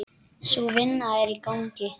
Sú vinna er í gangi.